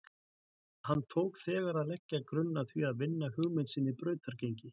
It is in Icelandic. Hann tók þegar að leggja grunn að því að vinna hugmynd sinni brautargengi.